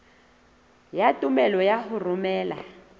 ya tumello ya ho romela